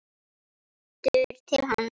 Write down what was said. Lítur til hans.